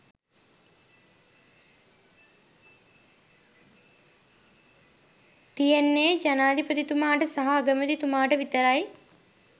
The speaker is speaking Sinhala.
තියෙන්නේ ජනාධිපතිතුමාට සහ අගමැතිතුමාට විතරයි